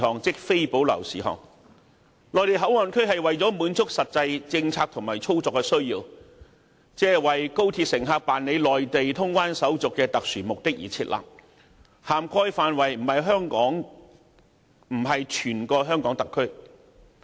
設立內地口岸區旨在滿足實際政策和操作需要，亦即為高鐵乘客辦理內地通關手續的特殊目的而設立，並不涵蓋整個香港特區。